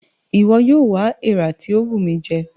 Iwọ yóò wá èèrà ti o bù mí jẹ!